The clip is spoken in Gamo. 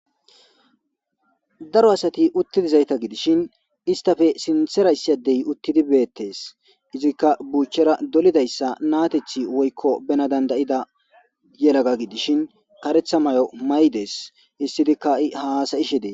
Daro asat utti dizayta gidishn istappe sinthera issi addey utid betesi, izika buchera dolidaysa natethi woyko bena danda'ida yelaga gidishn karetha mayo mayides, histidika ha'i hasa'ashe Des.